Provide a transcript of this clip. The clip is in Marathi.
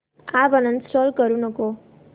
अॅप अनइंस्टॉल करू नको